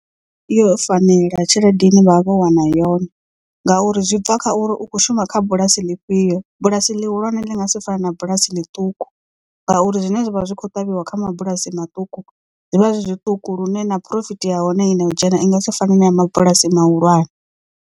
I vha yo fanela tshelede ine vha vha vho wana yone ngauri zwi bva kha uri u kho shuma kha bulasi ḽifhio bulasi ḽihulwane ḽi nga si fane na bulasi ḽiṱuku ngauri zwine zwavha zwi kho ṱavhiwa kha mabulasi maṱuku zwivha zwi zwiṱuku lune na phurofiti ya hone i no u dzhena i nga si fane na ya mabulasi mahulwane.